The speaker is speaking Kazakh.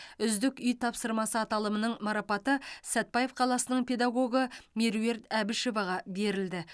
үздік үй тапсырмасы аталымының марапаты сәтбаев қаласының педагогы меруерт әбішеваға берілді